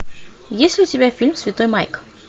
есть ли у тебя фильм святой майк